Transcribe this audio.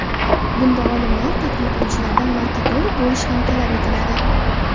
Bunda olimlar, tadqiqotchilardan marketolog bo‘lish ham talab etiladi.